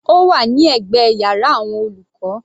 Ó wà ní ẹ̀gbẹ́ yàrá àwọn olùkọ́.